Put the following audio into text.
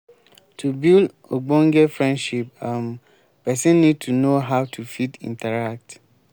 to build ogbonge friendship um person need to know how to fit interact